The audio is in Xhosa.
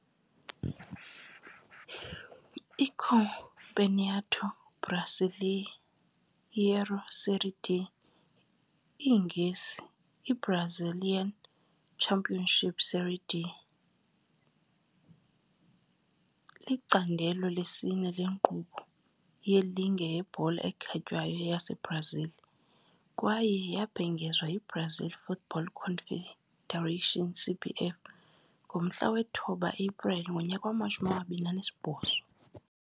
ICampeonato Brasileiro Série D, iNgesi- I-Brazilian Championship SerieD, licandelo lesine lenkqubo yeligi yebhola ekhatywayo yaseBrazil, kwaye yabhengezwa yiBrazilian Football Confederation, CBF, nge-9 April 2008.